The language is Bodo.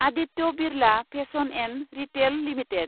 Aditya Birla fashion & retail limited